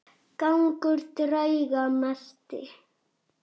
Gangur drauga mesti.